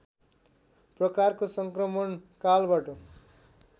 प्रकारको सङ्क्रमण कालबाट